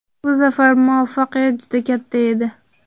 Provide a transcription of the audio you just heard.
Bu safar muvaffaqiyat juda katta edi.